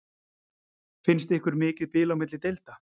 Finnst ykkur mikið bil á milli deilda?